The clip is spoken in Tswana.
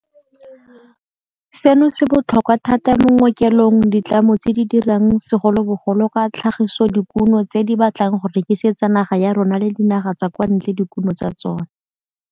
Seno se botlhokwa thata mo go ngokeleng ditlamo tse di dirang segolobogolo ka tlhagisodikuno tse di batlang go rekisetsa naga ya rona le dinaga tsa kwa ntle dikuno tsa tsona.